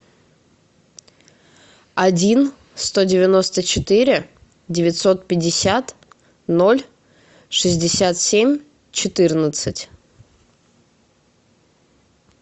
один сто девяносто четыре девятьсот пятьдесят ноль шестьдесят семь четырнадцать